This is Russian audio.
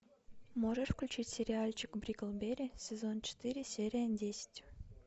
можешь включить сериальчик бриклберри сезон четыре серия десять